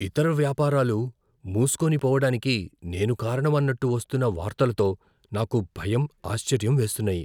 ఇతర వ్యాపారాలు మూస్కోని పోవడానికి నేను కారణం అన్నట్టు వస్తున్న వార్తలతో నాకు భయం, ఆశ్చర్యం వేస్తున్నాయి.